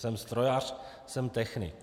Jsem strojař, jsem technik.